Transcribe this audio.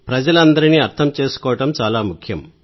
ప్రజలందరినీ అర్థం చేసుకోవడం చాలా ముఖ్యం